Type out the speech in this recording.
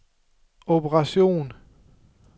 operation